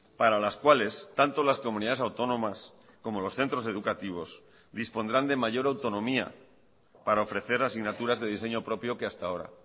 para las cuales tanto las comunidades autónomas como los centros educativos dispondrán de mayor autonomía para ofrecer asignaturas de diseño propio que hasta ahora